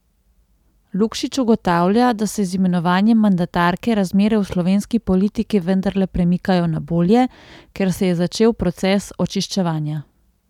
Lukšič ugotavlja, da se z imenovanjem mandatarke razmere v slovenski politiki vendarle premikajo na bolje, ker se je začel proces očiščevanja.